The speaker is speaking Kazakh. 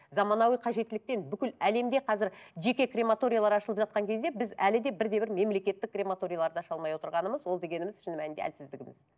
заманауи қажеттіліктен бүкіл әлемде қазір жеке крематориялар ашылып жатқан кезде біз әлі де бірде бір мемлекеттік крематорияларды аша алмай отырғанымыз ол дегенімміз шын мәнінде әлсіздігіміз